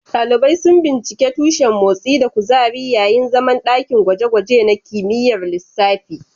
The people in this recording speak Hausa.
Dalibai sun binciki tushen motsi da kuzari yayin zaman dakin gwaje-gwaje na kimiyyar lissafi.